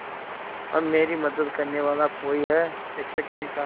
अब मेरी मदद करने वाला कोई है शिक्षक ने कहा